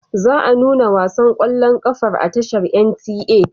Za a nuna wasan ƙwallon ƙafar a tashar NTA.